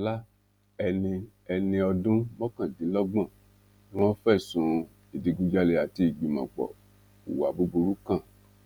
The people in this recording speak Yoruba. ṣọlá ẹni ẹni ọdún mọkàndínlọgbọn ni wọn fẹsùn ìdígunjalè àti ìgbìmọpọ hùwà búburú kan